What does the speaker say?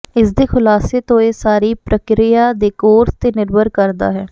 ਇਸਦੇ ਖੁਲਾਸੇ ਤੋਂ ਇਹ ਸਾਰੀ ਪ੍ਰਕਿਰਿਆ ਦੇ ਕੋਰਸ ਤੇ ਨਿਰਭਰ ਕਰਦਾ ਹੈ